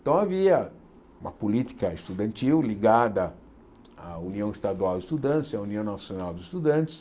Então havia uma política estudantil ligada à União Estadual de Estudantes e à União Nacional de Estudantes.